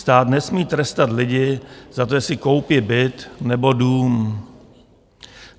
Stát nesmí trestat lidi za to, si koupí byt nebo dům.